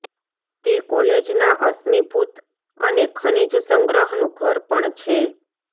તે કોલેજના અશ્મિભૂત અને ખનિજ સંગ્રહનું ઘર પણ છે